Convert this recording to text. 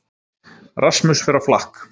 Rasmus fer á flakk